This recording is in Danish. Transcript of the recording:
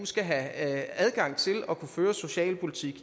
skal have adgang til at kunne føre socialpolitik